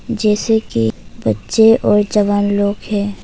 जैसे कि बच्चे और जवान लोग हैं।